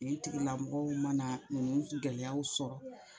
Nin tigilamɔgɔw mana nin gɛlɛyaw sɔrɔ